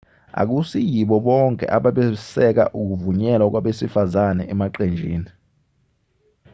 akusiyibo bonke ababesekela ukuvunyelwa kwabesifazane emaqenjini